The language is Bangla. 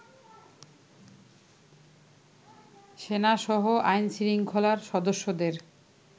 সেনাসহ আইন-শৃঙ্খলার সদস্যদের